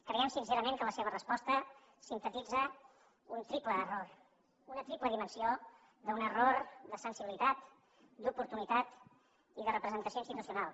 creiem sincerament que la seva resposta sintetitza un triple error una triple dimensió d’un error de sensibilitat d’oportunitat i de representació institucional